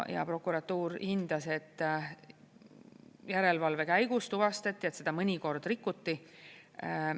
Ja prokuratuur hindas, et järelevalve käigus tuvastati, et seda mõnikord rikuti.